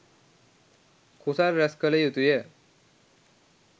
කුසල් රැස් කළ යුතුය.